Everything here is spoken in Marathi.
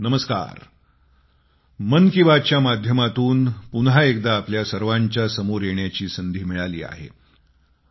नमस्कार मन की बात च्या माध्यमातून पुन्हा एकदा आपल्या सर्वांच्या समोर येण्याची संधी मिळाली आहे